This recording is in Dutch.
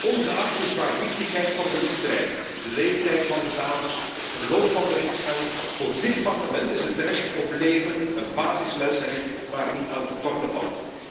Maar, ongeacht de zwaarte van de misdrijven, de leeftijd van de daders, het verloop van de rechtsgang, voor dit Parlement is het recht op leven een basismensenrecht waar niet aan te tornen valt.